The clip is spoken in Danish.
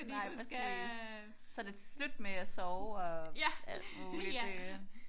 Nej præcis. Så er det slut med at sove og alt muligt øh